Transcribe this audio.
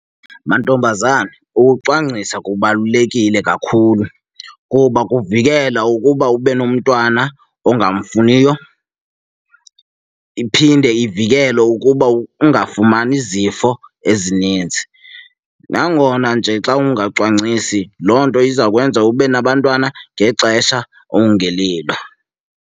Mantombazana, ukucwangcisa kubalulekile kakhulu kuba kuvikela ukuba ube nomntwana ongamfuniyo, iphinde ivikele ukuba ungafumani zifo ezininzi. Nangona nje xa ungacwangcisi loo nto izakwenza ube nabantwana ngexesha okungelilo.